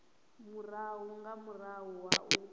murahu nga murahu ha u